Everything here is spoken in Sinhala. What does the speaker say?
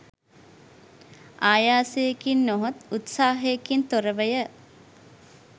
ආයාසයකින් නොහොත් උත්සාහයකින් තොරවය.